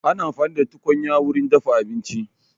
Ana amfani da tukunya wurin dafa abinci